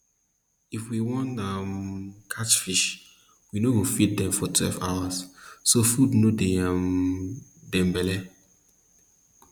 if we want um catch fish we no go feed dem for twelve hours so food no dey um dem belly